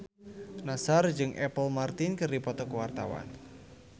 Nassar jeung Apple Martin keur dipoto ku wartawan